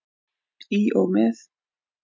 Í og með.